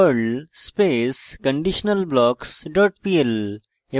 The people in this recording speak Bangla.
perl space conditionalblocks dot pl